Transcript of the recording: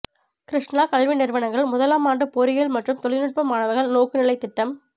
கிருஷ்ணா கல்வி நிறுவனங்கள் முதலாம் ஆண்டு பொறியியல் மற்றும் தொழில்நுட்ப மாணவர்கள் நோக்குநிலை திட்டம்